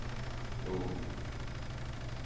Lom